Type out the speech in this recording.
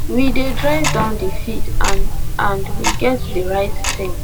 we dey drive down di field and and we get di right team